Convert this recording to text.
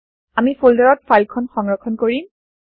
আমি ফল্দাৰ ত ফাইল খন সংৰক্ষণ কৰিম